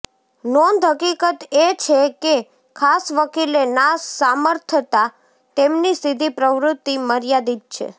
નોંધ હકીકત એ છે કે ખાસ વકીલે ના સામર્થતા તેમની સીધી પ્રવૃત્તિ મર્યાદિત છે